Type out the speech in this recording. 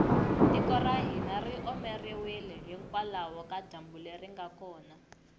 tiko ra hina ri omeriwile hikwalaho ka dyambu leri nga kona